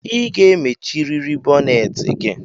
I ga-emechiriri bonneti gi!